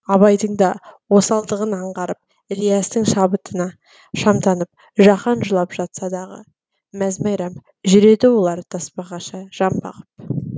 абайдың да осалдығын аңғарып ілиястың шабытына шамданып жаһан жылап жатса дағы мәз мейрам жүреді олар тасбақаша жан бағып